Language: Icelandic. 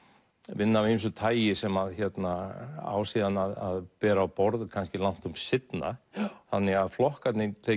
vinna af ýmsu tagi sem á síðan að bera á borð langtum seinna þannig að flokkarnir þeir